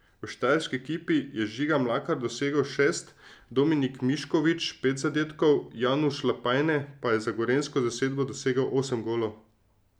V štajerski ekipi je Žiga Mlakar dosegel šest, Dominik Mišković pet zadetkov, Januš Lapajne pa je za gorenjsko zasedbo dosegel osem golov.